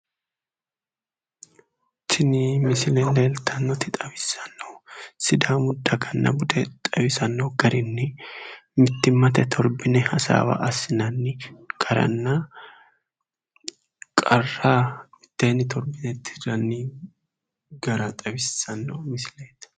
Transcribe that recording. Tini misile leeltannoti xaissannohu sidaamu daganna bude xawisanno garinni mittimmate torbine hasaawa assinanni garanna qarra mitteenni torbine tirranni gara xawissanno misileeti